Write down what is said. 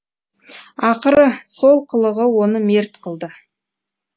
ақыры сол қылығы оны мерт қылды